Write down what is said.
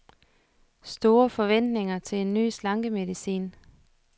Store forventninger til en ny slankemedicin.